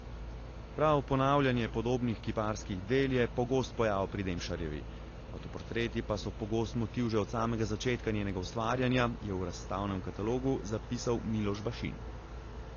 Prav ponavljanje podobnih kiparskih del je pogost pojav pri Demšarjevi, avtoportreti pa so pogost motiv že od samega začetka njenega ustvarjanja, je v razstavnem katalogu zapisal Miloš Bašin.